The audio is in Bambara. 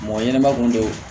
Mɔgɔ ɲɛnɛma kun don